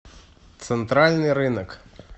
центральный рынок